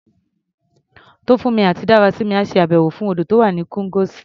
Tófúnmi àti Dárasími á ṣe àbẹ̀wò sí odò tó wà ní Ikongosi.